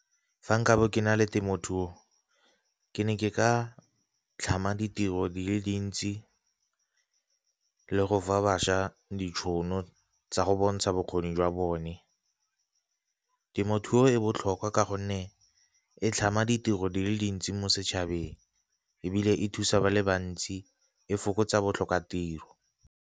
Fa nka bo kena le temothuo ke ne ke ka tlhama ditiro di le dintsi le go fa bašwa ditšhono tsa go bontsha bokgoni jwa bone. Temothuo e botlhokwa ka gonne e tlhama ditiro di le dintsi mo setšhabeng, ebile e thusa ba le bantsi e fokotsa botlhokatiro.